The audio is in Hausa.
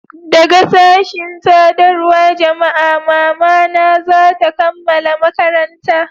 daga sashin sadarwar jama'a mama na za ta kammala makaranta